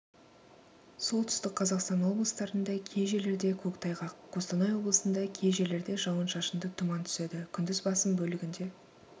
солтүстік қазақстан облыстарында кей жерлерде көктайғақ қостанайоблысында кей жерлерде жауын-шашынды тұман түседі күндіз басым бөлігінде